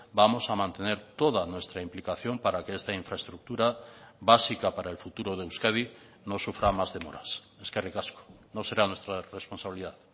vamos a mantener toda nuestra implicación para que esta infraestructura básica para el futuro de euskadi no sufra más demoras eskerrik asko no será nuestra responsabilidad